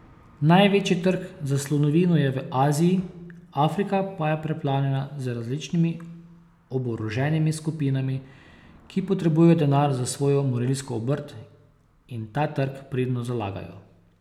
Največji trg za slonovino je v Aziji, Afrika pa je preplavljena z različnimi oboroženimi skupinami, ki potrebujejo denar za svojo morilsko obrt, in ta trg pridno zalagajo.